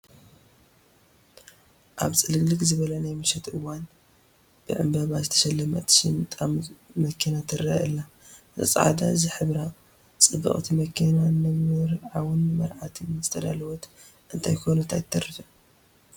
ኣብ ፅልግልግ ዝበለ ናይ ምሸት እዋን ብዕምበባ ዝተሸለመት ሽምጣም መኪና ትርአ ኣላ፡፡ እዛ ፃዕዳ ዝሕብራ ፅብቕቲ መኪና ንመርዓውን መርዓትን ዝተዳለወት እንተይኮነት ኣይትተርፍን፡፡